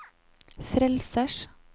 frelsers